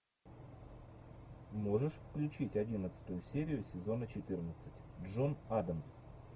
можешь включить одиннадцатую серию сезона четырнадцать джон адамс